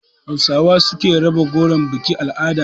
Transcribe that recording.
Hausawa su suke raba goro a bikin-al'ada.